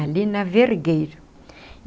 ali na Vergueiro.